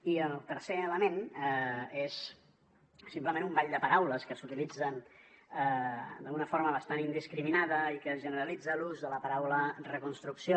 i el tercer element és simplement un ball de paraules que s’utilitzen d’una forma bastant indiscriminada i que es generalitza en l’ús de la paraula reconstrucció